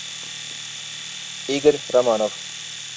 игорь романов